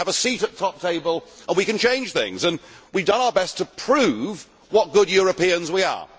We must have a seat at the top table and we can change things. We have done our best to prove what good Europeans we are.